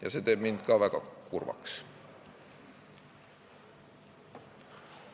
Ja see teeb mind ka väga kurvaks.